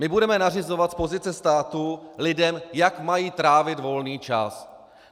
My budeme nařizovat z pozice státu lidem, jak mají trávit volný čas.